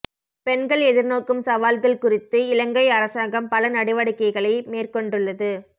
பெண்கள் எதிர்நோக்கும் சவால்கள் குறித்து இலங்கை அரசாங்கம் பல நடவடிக்கைகளை மேற்கொண்டுள்ளது